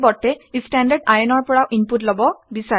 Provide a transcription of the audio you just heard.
পৰিৱৰ্তে ই standardin ৰ পৰা ইনপুট লব বিচাৰে